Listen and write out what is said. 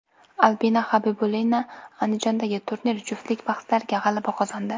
Albina Xabibulina Andijondagi turnir juftlik bahslarida g‘alaba qozondi.